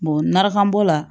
narafan bɔ la